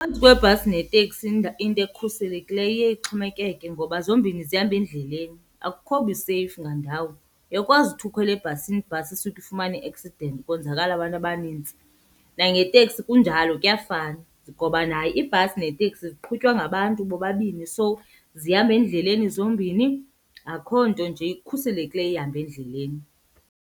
kwebhasi neteksi into ekhuselekileyo iye ixhomekeke ngoba zombini zihamba endleleni, akukho buseyifu ngandawo. Uyakwazi uthi ukhwele ebhasini ibhasi isuke ifumane i-accident kwenzakale abantu abanintsi, nangeteksi kunjalo kuyafana ngoba nayo iibhasi neeteksi ziqhutywa ngabantu bobabini. So zihamba endleleni zombini, akho nto nje ikhuselekileyo ihamba endleleni.